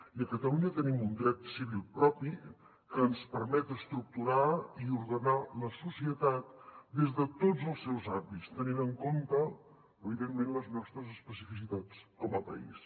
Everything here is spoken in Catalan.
i a catalunya tenim un dret civil propi que ens permet estructurar i ordenar la societat des de tots els seus àmbits tenint en compte evidentment les nostres especificitats com a país